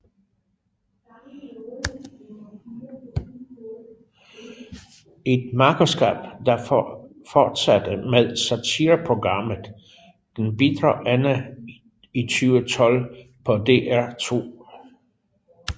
Et makkerskab der fortsatte med satireprogrammet Den Bitre Ende i 2012 på DR2